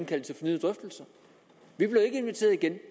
valget og vi kan så igen